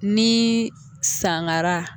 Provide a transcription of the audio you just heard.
Ni sangara